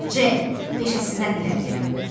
C. peşəsindən irəli gələn qoxu.